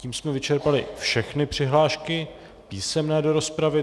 Tím jsme vyčerpali všechny přihlášky písemné do rozpravy.